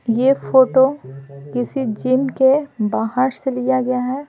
यह फोटो किसी जिम के बाहर से लिया गया है।